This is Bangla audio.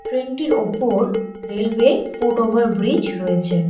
ট্রেনটির ওপর রেইলওয়ে ফুটওভার ব্রিজ রয়েছে।